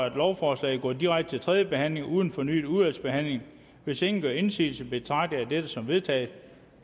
at lovforslaget går direkte til tredje behandling uden fornyet udvalgsbehandling hvis ingen gør indsigelse betragter jeg dette som vedtaget